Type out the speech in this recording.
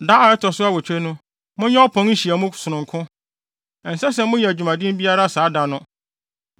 “ ‘Da a ɛto so awotwe no, monyɛ ɔpɔn nhyiamu sononko. Ɛnsɛ sɛ moyɛ adwumaden biara saa da no.